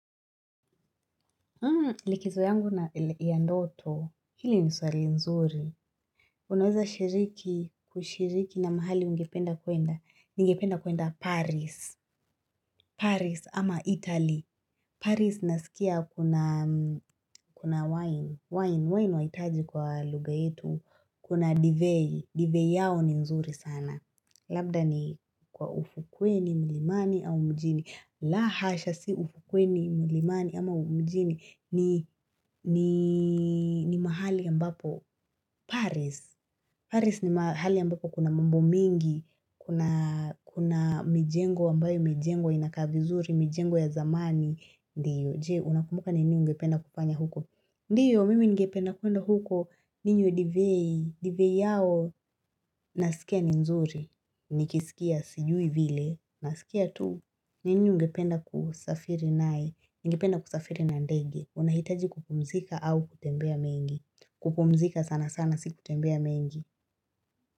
Likizo yangu ya ndoto, hili ni swali nzuri. Unaweza shiriki, kushiriki na mahali ungependa kwenda. Ningependa kwenda Paris. Paris ama Italy. Paris nasikia kuna wine. Wine, wine waitaji kwa lugha yetu. Kuna divei. Divei yao ni nzuri sana. Labda ni kwa ufukweni, mlimani au mjini. La hasha si ufukweni, mlimani ama mjini. Ni mahali ambapo. Paris. Paris ni mahali ambapo kuna mambo mingi. Kuna mijengo ambayo imejengwa inakaa vizuri. Mijengo ya zamani. Ndio. Je, unakumbuka ni nini ungependa kufanya huko? Ndio mimi ngependa kwenda huko. Ninywe divei. Divei yao. Nasikia ni nzuri. Nikisikia sijui vile. Nasikia tu. Nini ungependa kusafiri nayo. Ningependa kusafiri na ndege. Unahitaji kupumzika au kutembea mengi. Kupumzika sana sana si kutembea mengi.